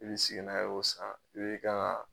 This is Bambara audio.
I be segin n'a ye o san i be kan ŋa